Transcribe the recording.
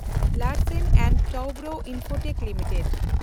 Larsen and Toubro limited